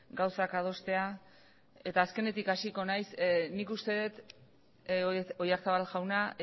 gauzak adostea eta azkenetik hasiko naiz nik uste dut oyarzabal jauna